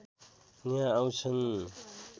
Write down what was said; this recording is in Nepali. यहाँ आँउछन्